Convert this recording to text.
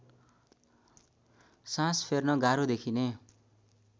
सास फेर्न गाह्रो देखिने